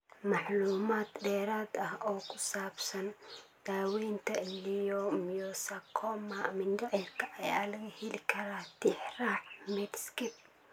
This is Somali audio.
Macluumaad dheeraad ah oo ku saabsan daaweynta leiomyosarcoma mindhicirka ayaa laga heli karaa Tixraaca Medscape.